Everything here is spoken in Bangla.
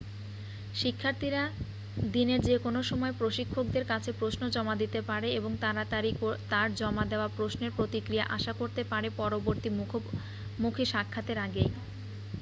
শিক্ষাথীরা দিনের যেকোনো সময় প্রশিক্ষকদের কাছে প্রশ্ন জমা দিতে পারে এবং তাড়াতাড়ি তার জমা দেওয়া প্রশ্নের প্রতিক্রিয়া আশা করতে পারে পরবর্তী মুখোমুখি সাক্ষাতের আগেই